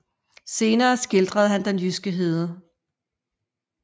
Senere skildrede han den jyske hede